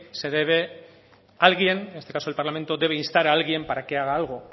se debe alguien en este caso el parlamento debe instar a alguien para que haga algo